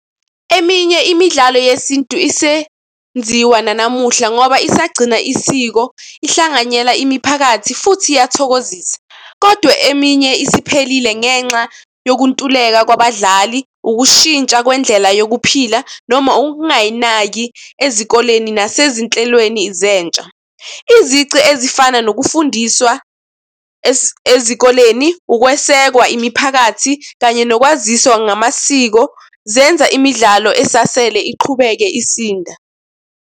Eminye imidlalo yesintu isenziwa nanamuhla ngoba ingagcina isiko ihlanganyela imiphakathi futhi iyathokozisa. Kodwa eminye isiphelile ngenxa yokuntuleka kwabadlali, ukushintsha kwendlela yokuphila noma ukungayinaki ezikoleni nasezinhlelweni zentsha. Izici ezifana nokufundiswa ezikoleni, ukwesekwa imiphakathi kanye nokwaziswa ngamasiko zenza imidlalo esasele iqhubeke isinda.